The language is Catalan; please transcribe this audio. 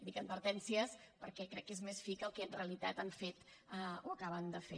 dic advertències perquè crec que és més fi que el que en realitat han fet o acaben de fer